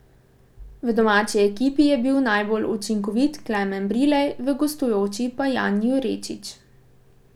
V domači ekipi je bil najbolj učinkovit Klemen Brilej, v gostujoči pa Jan Jurečič.